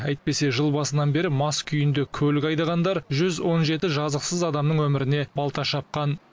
әйтпесе жыл басынан бері мас күйінде көлік айдағандар жүз он жеті жазықсыз адамның өміріне балта шапқан